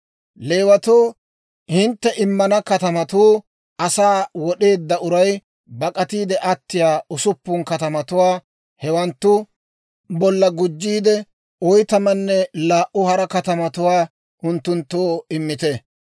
«Leewatoo hintte immana katamatuu, asaa wod'eedda uray bak'atiide attiyaa usuppun katamatuwaa; hewanttu bolla gujjiide, oytamanne laa"u hara katamatuwaa unttunttoo immite.